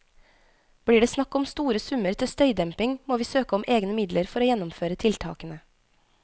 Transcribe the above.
Blir det snakk om store summer til støydemping, må vi søke om egne midler for å gjennomføre tiltakene.